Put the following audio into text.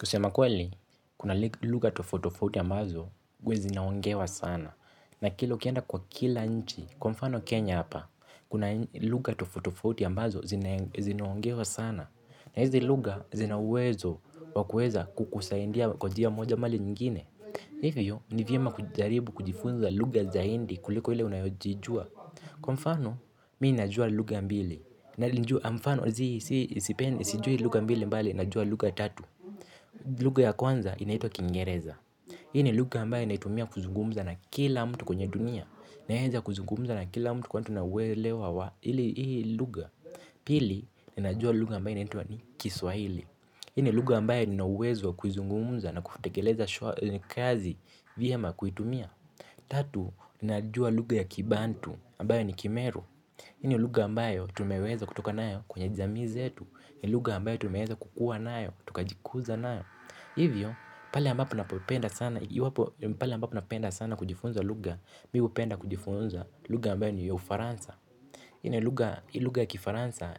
Kusema kweli, kuna luga tofauti tofauti ambazo huwa zinaongewa sana. Na kila ukienda kwa kila nchi, kwa mfano Kenya hapa, kuna luga tofauti tofauti ambazo zinaongewa sana. Na hizi luga zinauwezo wa kuweza kukusaindia kwa jia moja ama linyingine. Hivyo, ni vyema kujaribu kujifunza luga zaindi kuliko ile unayojijua. Kwa mfano, mii najua luga mbili mfano, sijui luga mbili mbali najua luga tatu. Luga ya kwanza inaitwa kingereza. Hii ni luga ambayo naitumia kuzungumza na kila mtu kwenye dunia. Naeza kuzungumza na kila mtu kwani tunauwelewa wa hii luga. Pili, ninajua luga ambayo inaitwa ni kiswahili. Ii ni luga ambayo ninauwezo wa kuizungumza na kutekeleza kazi vyema kuitumia. Tatu, najua luga ya kibantu ambayo ni kimeru. Ii ni luga ambayo tumeweza kutoka nayo kwenye jamii zetu. Ni luga ambayo tumeweza kukua nayo, tukajikuza nayo. Hivyo, pale ambapo napenda sana kujifunza luga, mi hupenda kujifunza luga ambayo ni ya ufaransa. Ii ni luga kifaransa